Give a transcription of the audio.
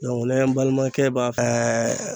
n'an ye n balimakɛ b'a